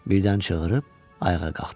Birdən çığıırıb ayağa qalxdı.